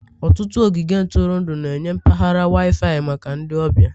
Ọtụtụ ogige ntụrụndụ na-enye mpaghara Wi-Fi maka ndị ọbịa.